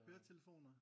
Høretelefoner?